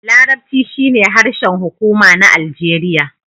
Larabci shine harshen hukuma na Aljeriya.